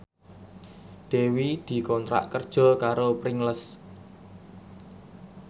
Dewi dikontrak kerja karo Pringles